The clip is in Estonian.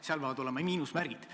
Seal peavad olema miinusmärgid.